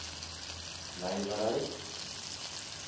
nywerheid